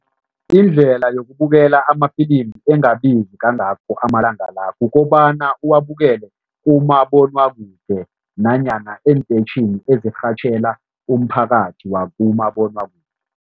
Indlela yokukubukela amafilimu engabizi kangakho amalanga la, kukobana uwabukelele umabonwakude nanyana eenteyitjhini ezirhatjhela umphakathi wakumabonwakude.